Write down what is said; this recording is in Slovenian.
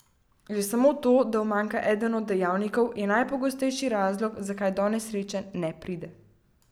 Že samo to, da umanjka eden od dejavnikov, je najpogostejši razlog, zakaj do nesreče ne pride.